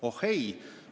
Oh ei!